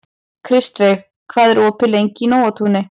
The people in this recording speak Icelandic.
Kristveig, hvað er opið lengi í Nóatúni?